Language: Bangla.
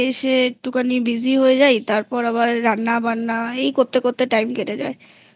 একটুখানি Busy হয়ে যাই তারপর আবার রান্না বান্না এই করতে করতে Time কেটে যায়